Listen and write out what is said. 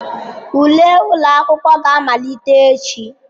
Ule ụlọ akwụkwọ ga-amalite echi.